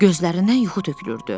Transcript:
Gözlərindən yuxu tökülürdü.